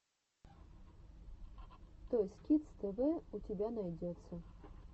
тойс кидс тэ вэ у тебя найдется